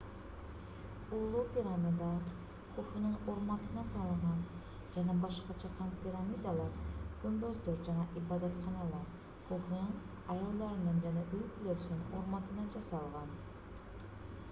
улуу пирамида хуфунун урматына салынган жана башка чакан пирамидалар күмбөздөр жана ибадатканалар хуфунун аялдарынын жана үй-бүлөсүнүн урматына жасалган